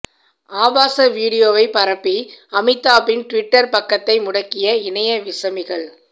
ஆபாச வீடியோவைப் பரப்பி அமிதாப்பின் டிவிட்டர் பக்கத்தை முடக்கிய இணைய விசமிகள்